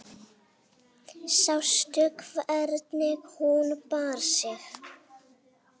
Sástu hvernig hún bar sig.